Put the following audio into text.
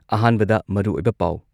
ꯑꯍꯥꯟꯕꯗ ꯃꯔꯨꯑꯣꯏꯕ ꯄꯥꯎ